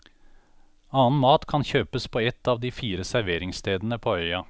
Annen mat kan kjøpes på et av de fire serveringsstedene på øya.